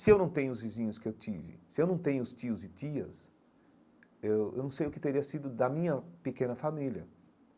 Se eu não tenho os vizinhos que eu tive, se eu não tenho os tios e tias, eu eu não sei o que teria sido da minha pequena família.